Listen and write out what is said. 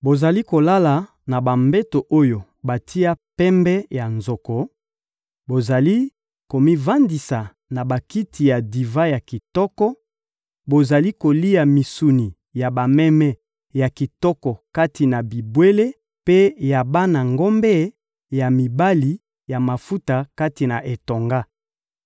Bozali kolala na bambeto oyo batia pembe ya nzoko, bozali komivandisa na bakiti ya divan ya kitoko, bozali kolia misuni ya bameme ya kitoko kati na bibwele mpe ya bana ngombe ya mibali ya mafuta kati na etonga.